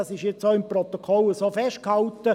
das ist auch im Protokoll so festgehalten.